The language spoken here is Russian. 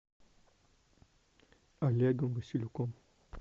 олегом василюком